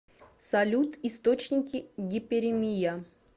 салют источники гиперемия